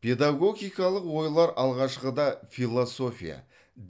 педагогикалық ойлар алғашқыда философия